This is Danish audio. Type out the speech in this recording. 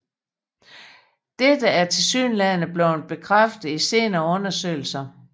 Dette er tilsyneladende blevet bekræftet i senere undersøgelser